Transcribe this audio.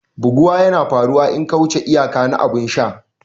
Buguwa yana faruwa in ka wuce iyaka na abun sha.